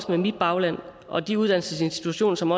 med mit bagland og også de uddannelsesinstitutioner som